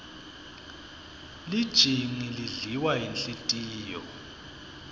lijingi lidliwa yinhlitiyo